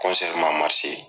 man